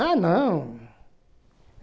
Ah, não!